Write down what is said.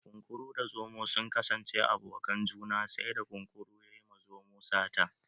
Kunkuru da zomo sun kasance abokanan juna sai da kunkurun ya yi ma zomon sata